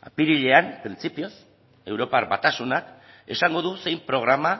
apirilean printzipioz europar batasunak esango du zein programa